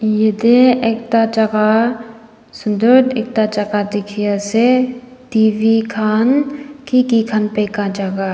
yate ekta jaga sundar ekta laga dikhi ase telivision khan ki ki khan beka jaga.